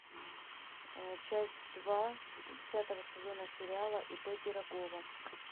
часть два десятого сезона сериала ип пирогова